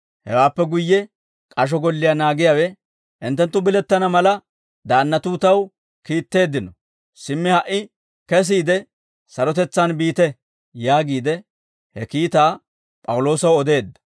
Hewaappe guyye k'asho golliyaa naagiyaawe, «Hinttenttu bilettana mala, daannatuu taw kiitteeddino; simmi ha"i kesiide sarotetsaan biite» yaagiide he kiitaa P'awuloosaw odeedda.